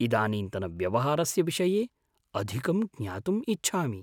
इदानीन्तनव्यवहारस्य विषये अधिकं ज्ञातुम् इच्छामि।